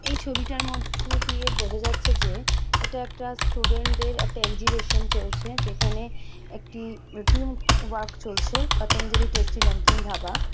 এই ছবিটার মধ্যে দিয়ে বোঝা যাচ্ছে যে এটা একটা স্টুডেন্ট দের একটা এগজিবিশন চলছে যেখানে একটি টিম ওয়ার্ক চলছে পতঞ্জলি টেস্টি নামকিন ধাবা।